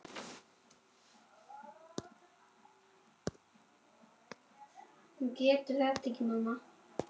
Ekki veitti nú af.